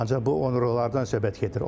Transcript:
Ancaq bu onurğalardan söhbət gedir.